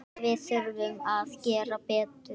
Við þurfum að gera betur.